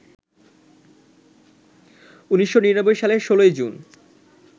১৯৯৯ সালের ১৬ জুন